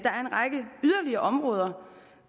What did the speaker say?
række yderligere områder